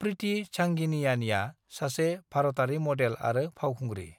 प्रीति झंगियानीआ सासे भारतारि मडेल आरो फावखुंग्रि।